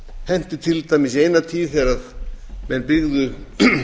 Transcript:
henti til dæmis í eina tíð þegar menn byggðu